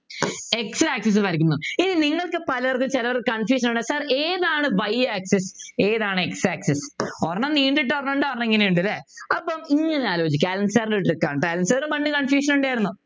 x axis വരയ്ക്കുന്നു ഇനി നിങ്ങൾക്ക് പലതും ചേലോർക്ക് confusion ആണ് sir ഏത് ആണ് y axis ഏതാണ് x axis ഒരെണ്ണം നീണ്ടിട്ടും ഉണ്ട് ഒരെണ്ണം ഇങ്ങനെ ഉണ്ട് അല്ലെ അപ്പോം ഇങ്ങനെ ആലോചിക്കാ പണ്ട് confusion ഉണ്ടായിരുന്നു